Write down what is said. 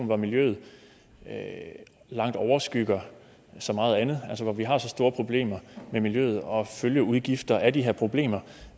hvor miljøet langt overskygger så meget andet altså hvor vi har så store problemer med miljøet og følgeudgifter af de her problemer